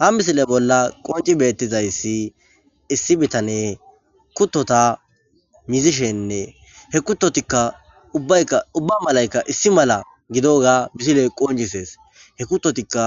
Ha misile bolla qonci besidayisi issi bitane kutota mizishenne he kutotaka ubayika uba malika issi mala gidoga misile qonc'ises he kutotika